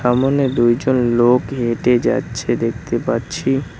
সামোনে দুইজন লোক হেঁটে যাচ্ছে দেখতে পাচ্ছি।